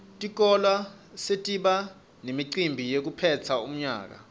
tikolwa setiba nemicimbi wekuphetsa umnyaka